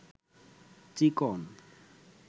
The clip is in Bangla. চিকন